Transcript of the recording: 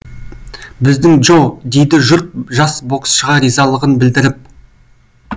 біздің джо дейді жұрт жас боксшыға ризалығын білдіріп